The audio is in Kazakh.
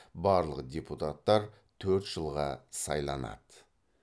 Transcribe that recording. барлық депутаттар төрт жылға сайланады